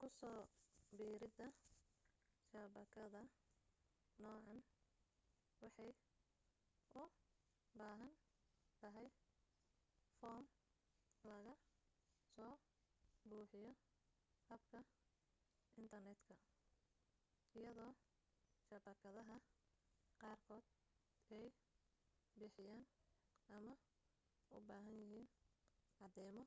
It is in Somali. kuso biirida shabakadda noocan waxay u baahan tahay foom laga soo buxiyo habka intarneetka iyado shabakadaha qaar kood ay bixiyaan ama u bahaan yahiin cadeymo